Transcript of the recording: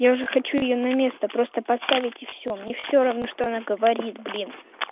я уже хочу её на место просто поставить и все мне все равно что она говорит блин